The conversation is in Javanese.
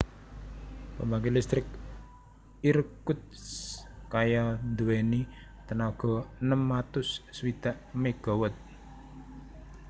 Pembangkit listrik Irkutskaya duwèni tenaga enem atus swidak megawatt